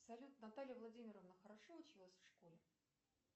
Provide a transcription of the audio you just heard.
салют наталья владимировна хорошо училась в школе